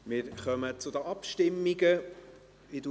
Wir kommen zu den Abstimmungen.